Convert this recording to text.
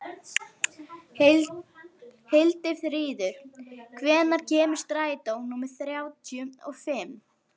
Sunna, hver er dagsetningin í dag?